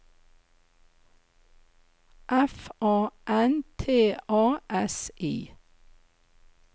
F A N T A S I